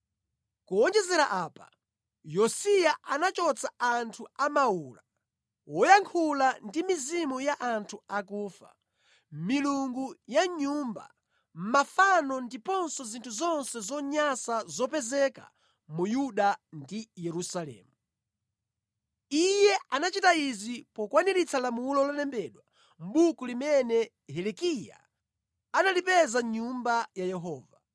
Kuwonjezera apa, Yosiya anachotsa anthu a mawula, woyankhula ndi mizimu ya anthu akufa, milungu ya mʼnyumba, mafano ndiponso zinthu zonse zonyansa zopezeka mu Yuda ndi Yerusalemu. Iye anachita izi pokwaniritsa lamulo lolembedwa mʼbuku limene Hilikiya analipeza mʼNyumba ya Yehova.